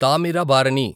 Thamirabarani